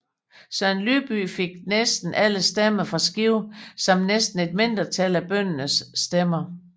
Søren Lybye fik næsten alle stemmer fra Skive by samt et mindretal af bøndernes stemmer